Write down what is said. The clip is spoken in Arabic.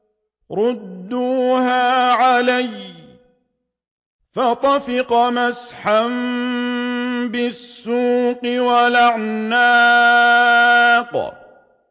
رُدُّوهَا عَلَيَّ ۖ فَطَفِقَ مَسْحًا بِالسُّوقِ وَالْأَعْنَاقِ